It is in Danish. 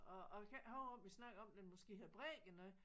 Og og jeg kan ikke huske om vi snakkede om den måske havde brækket noget